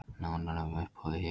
Nánar um uppboðið hér